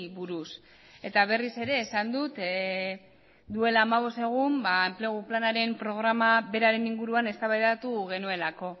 buruz eta berriz ere esan dut duela hamabost egun enplegu planaren programa beraren inguruan eztabaidatu genuelako